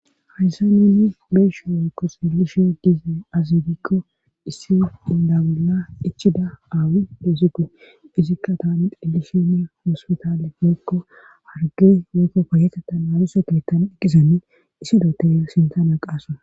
Hayssa neeni beesho wekko xeelishe dize azigikko issi inda bolla ichida aawi deezigu izikka taani xillishene hoospitaale meokko arge mekko payetetan aluse geettan eqqizane issidote sintana qaasa.